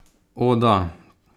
O, da.